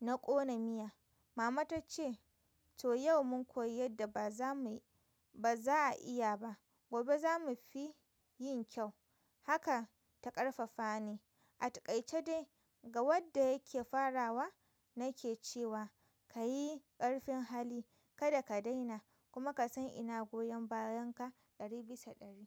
na ƙona miya. Mama ta ce to yau mun koyi yadda ba za a iya ba. Gobe za mu fi yin kyau. Haka ta ƙarfafa ni. Atakaice dai ga wadda yake farawa nake cewa kayi ƙarfin hali kada ka daina kuma kasan ina goyan bayanka ɗari bisa ɗari.